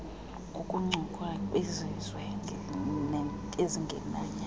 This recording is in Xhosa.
ngokuncokola nabezizwe ezingemnyama